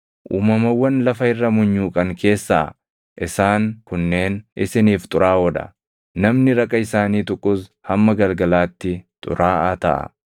Uumamawwan lafa irra munyuuqan keessaa isaan kunneen isiniif xuraaʼoo dha; namni raqa isaanii tuqus hamma galgalaatti xuraaʼaa taʼa.